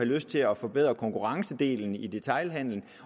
lyst til at forbedre konkurrencedelen i detailhandelen